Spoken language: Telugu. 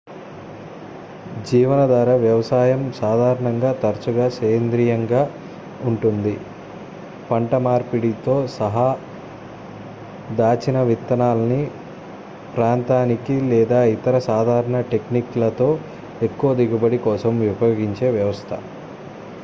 జీవనాధార వ్యవసాయం సాధారణంగా తరచుగా సేంద్రీయంగా ఉంటుంది పంట మార్పిడితో సహా దాచిన విత్తనాలని ప్రాంతానికి లేదా ఇతర సాధారణ టెక్నిక్ లతో ఎక్కువ దిగుబడి కోసం ఉపయోగించే వ్యవస్థ